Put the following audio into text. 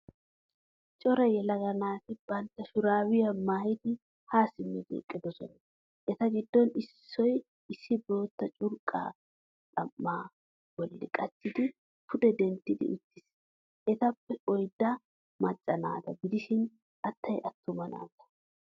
Cora yelaga naati boottaa shurabiyaa maayidi ha simidi eqqidosona. Eta giddon issoy issi boootta curqqa xam'aa bolli qachchidi pude denttidi uttiis. Etappe oydday macca naata gidishin attay attuma naata.